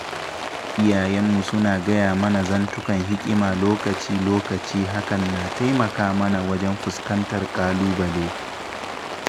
Iyayenmu suna gaya mana zantukan hikima lokaci-lokaci hakan na taimaka mana wajen fuskantar kalubale.